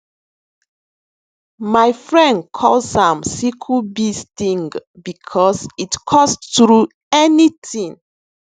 mai fren calls am sickle bee sting bicos it cuts through anything